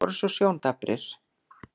þeir voru svo sjóndaprir.